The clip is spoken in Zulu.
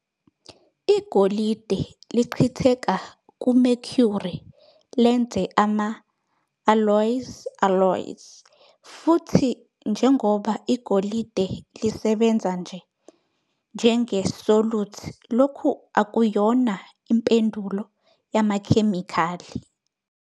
Igolide lichitheka ku-mercury, lenze ama-alloys alloys, futhi njengoba igolide lisebenza nje njenge-solute lokhu akuyona impendulo yamakhemikhali.